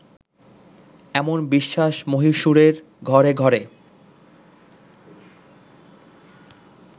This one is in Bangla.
এমন বিশ্বাস মহীশুরের ঘরে ঘরে